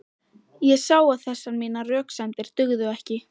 Ég sá að þessar mínar röksemdir dugðu ekki.